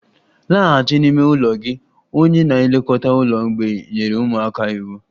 Laghachi n'ime ụlọ gị! Onye na-elekọta ụlọ mgbei nyere ụmụaka iwu